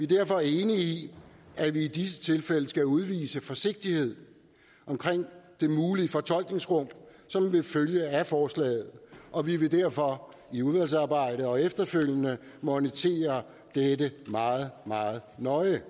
derfor enige i at vi i disse tilfælde skal udvise forsigtighed omkring det mulige fortolkningsrum som vil følge af forslaget og vi vil derfor i udvalgsarbejdet og efterfølgende monitere dette meget meget nøje